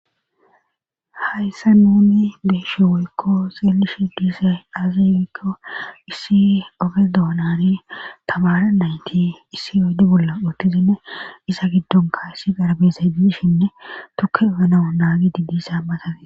Hayssa nuni deeshi woykko seelishi diise aaziwikko issi oge doonani tabara nayti issi ode bolla uttizinne isa giddonka issi garabesay diishinne tuke genau naagi di diisa matafee.